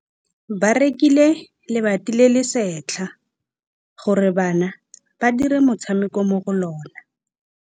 Ba rekile lebati le le setlha gore bana ba dire motshameko mo go lona.